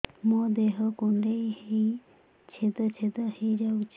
ମୋ ଦେହ କୁଣ୍ଡେଇ ହେଇ ଛେଦ ଛେଦ ହେଇ ଯାଉଛି